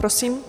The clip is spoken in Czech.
Prosím.